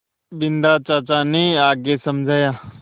बिन्दा चाचा ने आगे समझाया